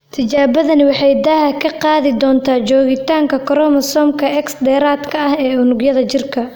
Tijaabadani waxay daaha ka qaadi doontaa joogitaanka koromosoomka X dheeraadka ah ee unugyada jirka.